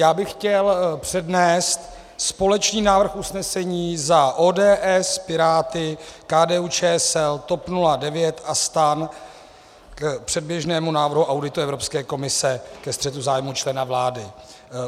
Já bych chtěl přednést společný návrh usnesení za ODS, Piráty, KDU-ČSL, TOP 09 a STAN k předběžnému návrhu auditu Evropské komise ke střetu zájmů člena vlády.